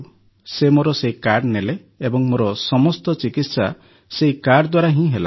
ସେ ମୋର ସେହି କାର୍ଡ଼ ନେଲେ ଏବଂ ମୋର ସମସ୍ତ ଚିକିତ୍ସା ସେହି କାର୍ଡ଼ ଦ୍ୱାରା ହିଁ ହେଲା